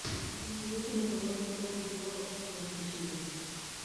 закажите мне пожалуйста пол кило перца чили